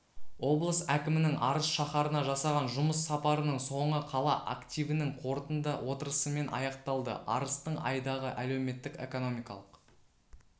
облыс әкімінің арыс шаһарына жасаған жұмыс сапарының соңы қала активінің қорытынды отырысымен аяқталды арыстың айдағы әлеуметтік-экономикалық